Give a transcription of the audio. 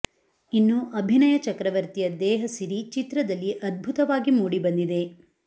ಇನ್ನು ಅಭಿನಯ ಚಕ್ರವರ್ತಿಯ ದೇಹ ಸಿರಿ ಚಿತ್ರದಲ್ಲಿ ಅದ್ಭುತವಾಗಿ ಮೂಡಿ ಬಂದಿದೆ